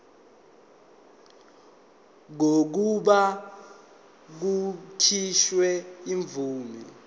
kokuba kukhishwe imvume